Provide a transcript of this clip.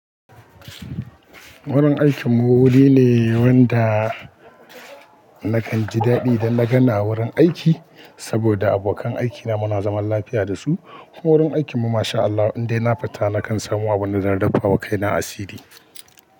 Wurin aikinmu wuri ne wanda nakan ji daɗi da lagana wurin aiki saboda abokan aikina muna zaman lafiya da su. Wurin aikinmu masha Allah indai na fita nakan samu abunda zan daffa wa kaina asiri.